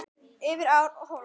Yfir ár og hóla.